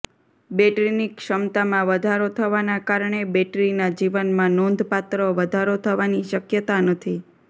બૅટરીની ક્ષમતામાં વધારો થવાના કારણે બૅટરીના જીવનમાં નોંધપાત્ર વધારો થવાની શક્યતા નથી